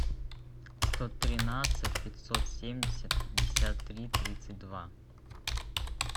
сто тринадцать пятьсот семьдесят пятьдесят три тридцать два